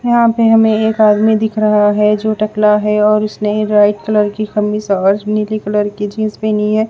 यहां पे हमें एक आदमी दिख रहा है जो टकला है और उसने व्हाइट कलर की कमीज़ और नीली कलर की जींस पहनी है।